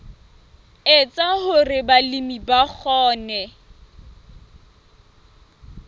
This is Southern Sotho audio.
etsa hore balemi ba kgone